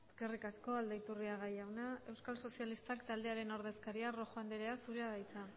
eskerrik asko aldaiturriaga jauna euskal sozialistak taldearen ordezkaria rojo andrea zurea da hitza